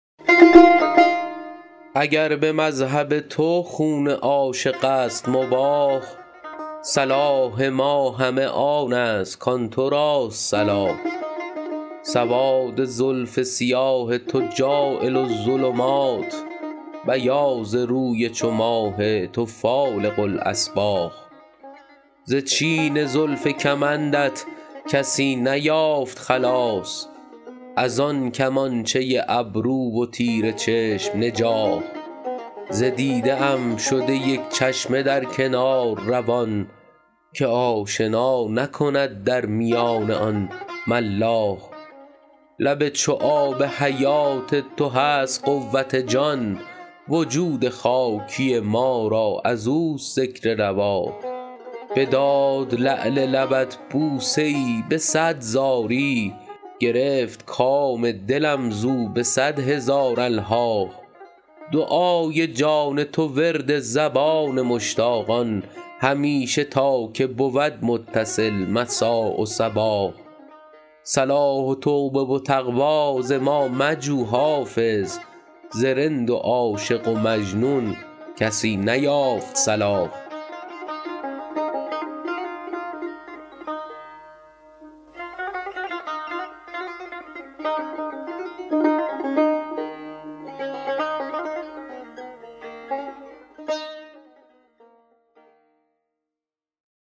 اگر به مذهب تو خون عاشق است مباح صلاح ما همه آن است کآن تو راست صلاح سواد زلف سیاه تو جاعل الظلمات بیاض روی چو ماه تو فالق الأصباح ز چین زلف کمندت کسی نیافت خلاص از آن کمانچه ابرو و تیر چشم نجاح ز دیده ام شده یک چشمه در کنار روان که آشنا نکند در میان آن ملاح لب چو آب حیات تو هست قوت جان وجود خاکی ما را از اوست ذکر رواح بداد لعل لبت بوسه ای به صد زاری گرفت کام دلم زو به صد هزار الحاح دعای جان تو ورد زبان مشتاقان همیشه تا که بود متصل مسا و صباح صلاح و توبه و تقوی ز ما مجو حافظ ز رند و عاشق و مجنون کسی نیافت صلاح